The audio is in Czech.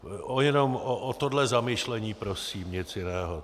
Jenom o tohle zamyšlení prosím, nic jiného.